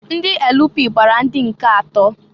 Ndị LP gbara ndị nke atọọ.